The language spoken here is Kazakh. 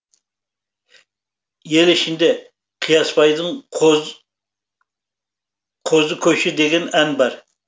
ел ішінде қиясбайдың қозы көші деген ән бар